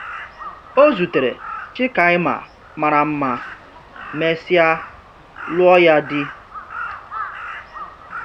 Ọ zutere Chikaima mara mma, mesịa lụọ ya di.